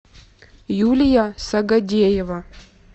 юлия сагадеева